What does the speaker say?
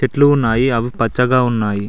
చెట్లు ఉన్నాయి అవి పచ్చగా ఉన్నాయి.